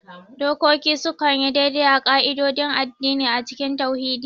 Dokoki sukan yi daidai da ƙa'idodin addini a cikin tauhidi.